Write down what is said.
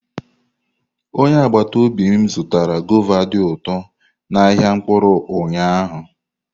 Onye agbata obi m zụtara guava dị ụtọ n'ahịa mkpụrụ ụnyahụ.